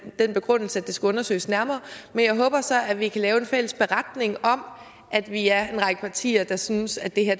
den begrundelse at det skal undersøges nærmere men jeg håber så at vi kan lave en fælles beretning om at vi er en række partier der synes at det her